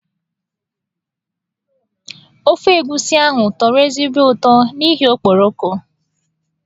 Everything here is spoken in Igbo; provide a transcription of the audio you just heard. Ofe egusi ahụ tọrọ ezigbo ụtọ n'ihi okporoko.